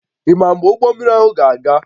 Ị ma mgbe ụgbọ mmiri ahụ ga-aga?